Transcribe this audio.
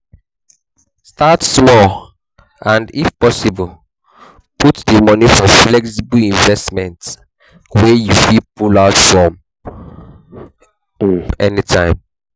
Start small and if possible put di money for flexible investment wey you fit pull out from um anytime